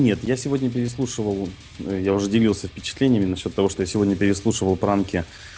нет я сегодня переслушивал я уже делился впечатлениями насчёт того что я сегодня переслушивал пранки